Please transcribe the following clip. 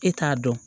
E t'a dɔn